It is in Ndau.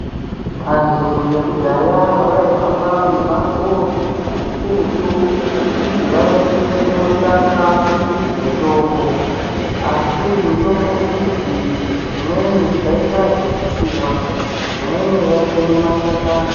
Vanthu vekudhaya vaihamba mimango mikurutu kuti vaende kunotsvaka mitombo asi mitombi idzi dzimweni dzaiita zvekutsiwa dzimweni vaikumwe mashakani.